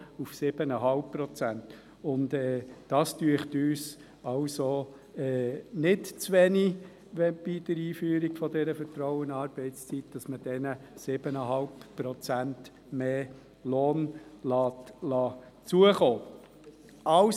Wir denken, das sei nicht zu wenig, wenn man denen bei der Einführung der Vertrauensarbeitszeit 7,5 Prozent mehr Lohn zukommen lässt.